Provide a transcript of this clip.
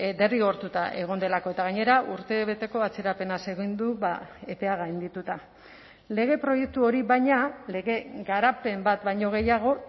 derrigortuta egon delako eta gainera urtebeteko atzerapenaz egin du epea gaindituta lege proiektu hori baina lege garapen bat baino gehiago